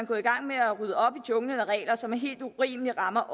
gået i gang med at rydde op i junglen af regler som helt urimeligt rammer